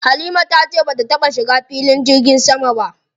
Halima ta ce bata taɓa shiga cikin filin jirgin sama ba.